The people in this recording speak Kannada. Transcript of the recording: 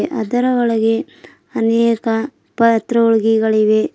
ಅದರ ಒಳಗೆ ಅನೇಕ ಪತ್ರೊಳ್ಗಿ ಗಳಿವೆ.